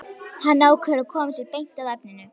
Hann ákveður að koma sér beint að efninu.